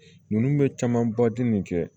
Ninnu bɛ camanba dun nin kɛ